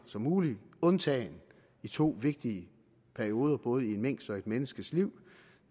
som muligt undtagen i to vigtige perioder både i en minks og i et menneskes liv